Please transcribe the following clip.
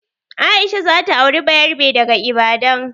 Aisha za ta auri bayarabe daga Ibadan.